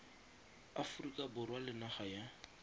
aforika borwa le naga ya